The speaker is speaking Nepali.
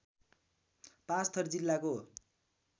पाँचथर जिल्लाको